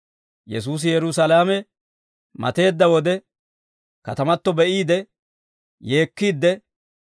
Yesuusi Yerusaalame mateedda wode, katamato be'iide, yeekkiidde,